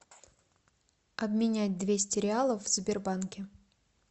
обменять двести реалов в сбербанке